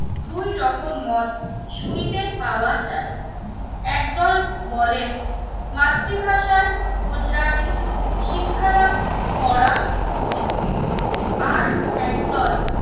দুই রকম মত শুনিতে পাওয়া যায়। একদল বলেন মাতৃভাষায় ভাষায় গুজরাটি, শিক্ষাদান করা উচিত। আর একদল